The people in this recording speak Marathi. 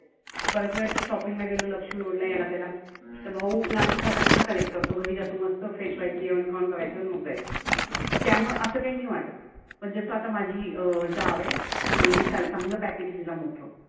परत shopping ला गेलो लक्ष्मी road ला याला त्याला. तर भाऊ नाशिक फाट्यापसनं collect करतो. घरी जातो मस्त fresh व्हायचं जेवन खावन करायचं मग जायचं. मग त्यामुल असं काही नाही वाटत. पण जसं आता माझी जाव आहे. चांगली स चांगलं package आहे मोठं.